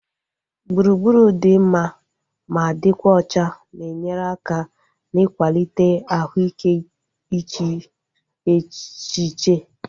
Gburugburu dị mma ma dịkwa ọcha na-enyere aka na-ikwalite ahụ ike iche echiche